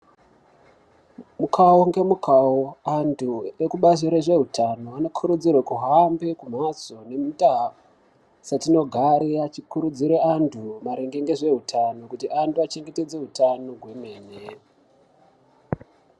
Mukawonge mukawo antu ekubazi rezveutano kurudzirwe kuhambe mumhatso nendau dzatinogarire vachikurudzire antu maringe nezveutano kuti ange chengetedze utano kwemene.